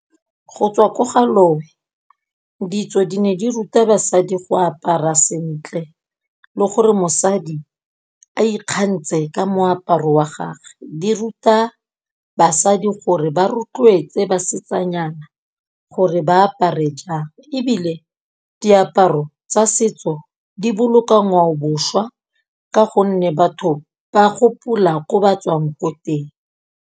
Go tswa ko ga lowe ditso di ne di ruta basadi go apara sentle le gore mosadi a ikgantshe ka moaparo wa gage. Di ruta basadi gore ba rotloetse basetsanyana gore ba apare jang, ebile diaparo tsa setso di boloka ngwaobošwa ka gonne batho ba gopola ko ba tswang ko teng.